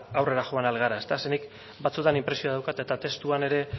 aurrera joan ahal gara zeren nik batzetan inpresio daukat eta testuan ere